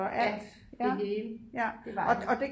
Ja det hele det var det